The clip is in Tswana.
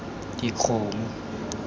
dikgomo